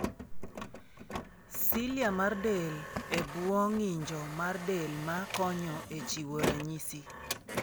Cilia mar del e bwo ng'injo mar del ma konyo e chiwo ranyisi.